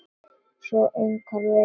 Svo sem engan veginn